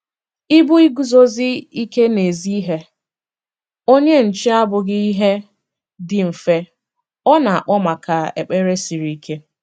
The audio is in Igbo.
Ịbụ iguzosi ike n'ezi ihe - onye nche abụghị ihe dị mfe; ọ na-akpọ maka ekpere siri ike.